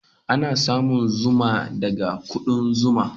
Ana samun zuma daga kuɗan zuma.